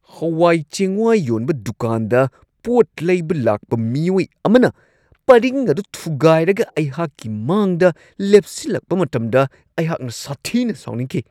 ꯍꯋꯥꯏ-ꯆꯦꯡꯋꯥꯏ ꯌꯣꯟꯕ ꯗꯨꯀꯥꯟꯗ ꯄꯣꯠ ꯂꯩꯕ ꯂꯥꯛꯄ ꯃꯤꯑꯣꯏ ꯑꯃꯅ ꯄꯔꯤꯡ ꯑꯗꯨ ꯊꯨꯒꯥꯏꯔꯒ ꯑꯩꯍꯥꯛꯀꯤ ꯃꯥꯡꯗ ꯂꯦꯞꯁꯤꯜꯂꯛꯄ ꯃꯇꯝꯗ ꯑꯩꯍꯥꯛꯅ ꯁꯥꯊꯤꯅ ꯁꯥꯎꯅꯤꯡꯈꯤ ꯫